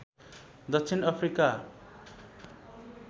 दक्षिण अफ्रिका